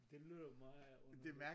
Det lyder meget underligt